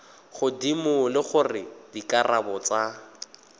godimo le gore dikarabo tsa